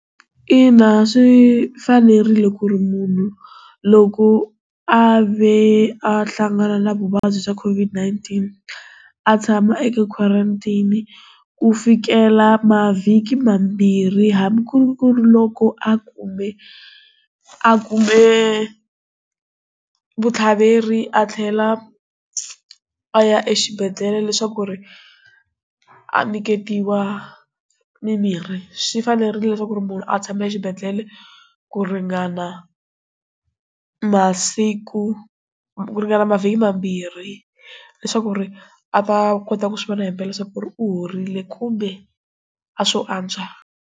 Ina, swi fanerile ku ri munhu loko a ve a hlangana na vuvabyi bya COVID-19 atshama eka quarantine ku fikela mavhiki mambirhi hambi ku ri ku ri loko a kume a kume vuthlaveri a tlhela a ya exibedhlele leswaku ku ri a nyiketiwa mimirhi swi fanerile leswaku ri munhu a tshame xibedhlele ku ringana masiku ku ringana mavhiki mambirhi leswaku ri a ta kota ku swi vona hi mpela swa ku ri u horile kumbe a swo antswa.